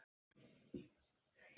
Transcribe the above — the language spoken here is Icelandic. Frá upphafi til enda.